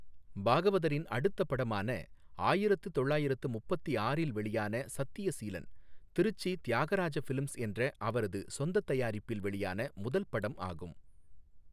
பாகவதரின் அடுத்தப் படமான ஆயிரத்து தொள்ளாயிரத்து முப்பத்தி ஆறில் வெளியான சத்யசீலன் , திருச்சி தியாகராஜ ஃபிலிம்ஸ் என்ற அவரது சொந்தத் தயாரிப்பில் வெளியான முதல் படம் ஆகும்.